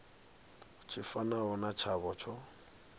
tshi fanaho na tshavho tsho